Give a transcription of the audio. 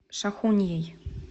шахуньей